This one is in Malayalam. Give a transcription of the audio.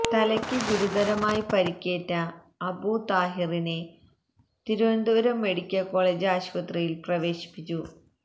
തലയ്ക്ക് ഗുരുതരമായി പരിക്കേറ്റ അബൂ താഹിറിനെ തിരുവനന്തപുരം മെഡിക്കല് കോളജ് ആശുപത്രിയില് പ്രവേശിപ്പിച്ചു